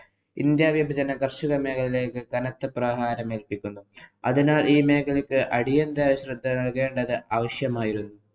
India വിഭജനം കര്‍ഷക മേഖലയ്ക്കു കനത്ത പ്രഹാരം ഏല്‍പ്പിക്കുന്നു. അതിനാല്‍ ഈ മേഖലയ്ക്ക് അടിയന്തര ശ്രദ്ധ നല്‍കേണ്ടത് അവശ്യമായിരുന്നു.